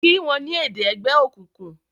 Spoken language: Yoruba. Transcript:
kí wón ni èdè ègbé òkùnkùn!